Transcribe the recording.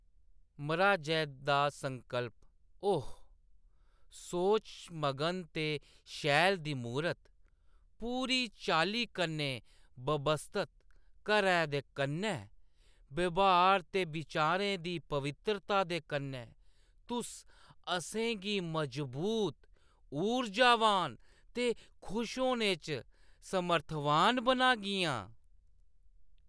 मर्‌हाजै दा संकल्प : ओह्‌‌ ! सोचमगन ते शैल दी मूरत, पूरी चाल्ली कन्नै ब्यवस्थत घैर दे कन्नै, ब्यहार ते बिचारें दी पवित्तरता दे कन्नै, तुस असेंगी मजबूत, ऊर्जावान ते खुश होने च समर्थवान बनागियां।